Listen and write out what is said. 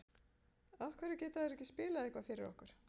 af hverju geta þeir ekki spilað eitthvað fyrir okkur?